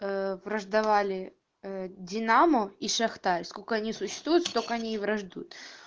враждовали динамо и шахта сколько они существуют что к ней враждуют